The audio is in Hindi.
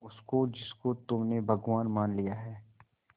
उसको जिसको तुमने भगवान मान लिया है